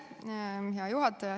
Hea juhataja!